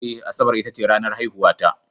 Eh, Asabar ita ce ranar haihuwata